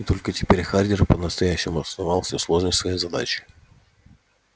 и только теперь хардин по-настоящему осознал всю сложность своей задачи